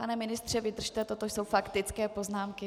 Pane ministře, vydržte, toto jsou faktické poznámky.